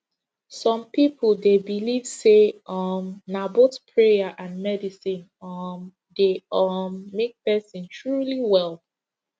some people dey believe say um na both prayer and medicine um dey um make person truly well